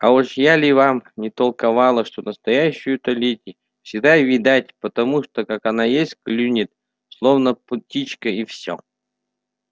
а уж я ли вам не толковала что настоящую-то леди всегда видать по тому как она ест клюнет словно птичка и всё